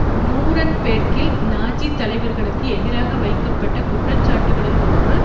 நூரென்பேர்க்கில் Nazi தலைவர்களுக்கு எதிராக வைக்கப்பட்ட குற்றச்சாட்டுக்களுள் ஒன்று